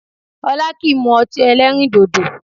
Ọlá kìí mú ọtí ẹlẹ́rìndòdò